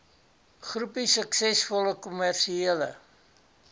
groepie suksesvolle kommersiële